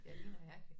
Ja lige nøjagtig